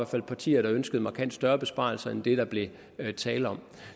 fald partier der ønskede markant større besparelser end det der blev tale om